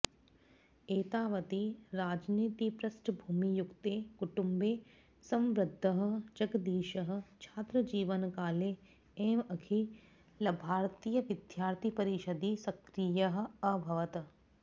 एतावति राजनीतिपृष्टभूमियुक्ते कुटुम्बे संवृद्धः जगदीशः छात्रजीवनकाले एव अखिलभारतीयविद्यार्थिपरिषदि सक्रियः अभवत्